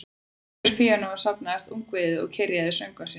Umhverfis píanóið safnaðist ungviðið og kyrjaði söngva sína